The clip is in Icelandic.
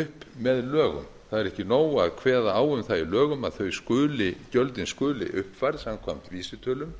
upp með lögunum það er ekki nóg að kveða á um það í lögum að þau skuli gjöldin skuli uppfærð samkvæmt vísitölu